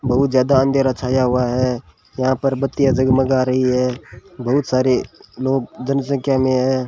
बहुत ज्यादा अंधेरा छाया हुआ है यहां पर बत्तियां जगमगा रही है बहुत सारे लोग जनसंख्या में हैं।